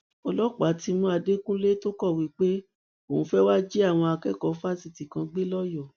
ọlọpàá ti mú àdẹkùnlé tó kọwé pé òun fẹẹ wàá jí àwọn akẹkọọ fásitì kan gbé lọyọọ